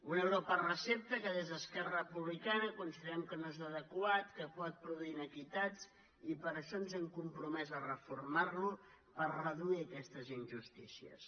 un euro per recepta que des d’esquerra republicana considerem que no és adequat que pot produir iniquitat i per això ens hem compromès a reformar lo per reduir aquestes injustícies